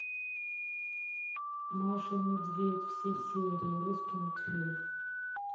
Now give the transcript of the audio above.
маша и медведь все серии русский мультфильм